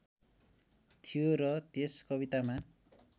थियो र त्यस कवितामा